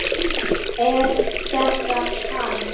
Er þetta hann?